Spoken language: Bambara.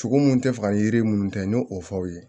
Sogo mun tɛ faga yiri minnu tɛ n ɲe o fɔ aw ye